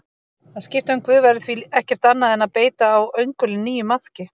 Að skipta um guð væri því ekkert annað en að beita á öngulinn nýjum maðki.